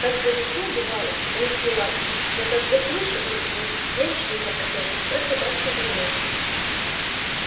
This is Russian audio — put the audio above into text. как завижу бывало рысьи лапки да как заслышу их визг веришь ли мой отец сердце так и замрёт